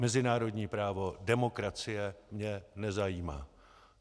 Mezinárodní právo, demokracie mě nezajímá.